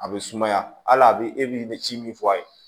A bɛ sumaya a bɛ e b'i bɛ ci min fɔ a ye